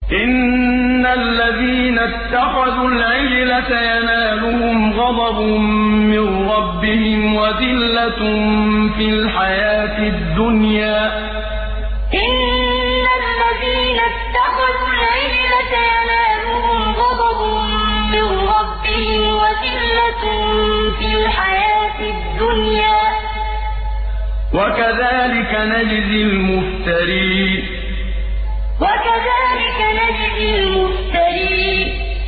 إِنَّ الَّذِينَ اتَّخَذُوا الْعِجْلَ سَيَنَالُهُمْ غَضَبٌ مِّن رَّبِّهِمْ وَذِلَّةٌ فِي الْحَيَاةِ الدُّنْيَا ۚ وَكَذَٰلِكَ نَجْزِي الْمُفْتَرِينَ إِنَّ الَّذِينَ اتَّخَذُوا الْعِجْلَ سَيَنَالُهُمْ غَضَبٌ مِّن رَّبِّهِمْ وَذِلَّةٌ فِي الْحَيَاةِ الدُّنْيَا ۚ وَكَذَٰلِكَ نَجْزِي الْمُفْتَرِينَ